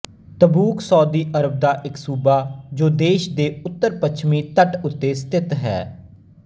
Tabuk Saudi ਅਰਬ ਦਾ ਇੱਕ ਸੂਬਾ ਜੋ ਦੇਸ਼ ਦੇ ਉੱਤਰਪੱਛਮੀ ਤੱਟ ਉੱਤੇ ਸਥਿਤ ਹੈ